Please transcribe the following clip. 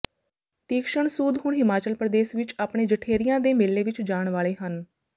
ਤੀਕਸ਼ਣ ਸੂਦ ਹੁਣ ਹਿਮਾਚਲ ਪ੍ਰਦੇਸ਼ ਵਿਚ ਆਪਣੇ ਜਠੇਰਿਆਂ ਦੇ ਮੇਲੇ ਵਿਚ ਜਾਣ ਵਾਲੇ ਹਨ